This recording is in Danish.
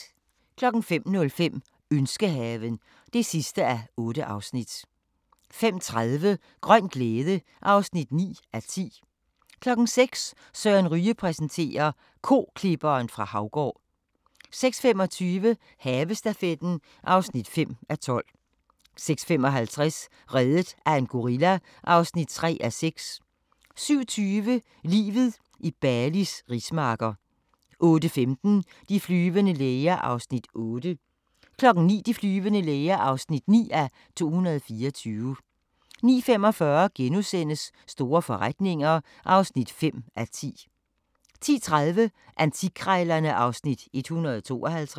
05:05: Ønskehaven (8:8) 05:30: Grøn glæde (9:10) 06:00: Søren Ryge præsenterer: Koklipperen fra Haugård 06:25: Havestafetten (5:12) 06:55: Reddet af en gorilla (3:6) 07:20: Livet i Balis rismarker 08:15: De flyvende læger (8:224) 09:00: De flyvende læger (9:224) 09:45: Store forretninger (5:10)* 10:30: Antikkrejlerne (Afs. 152)